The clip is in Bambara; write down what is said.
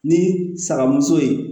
Ni sagamuso ye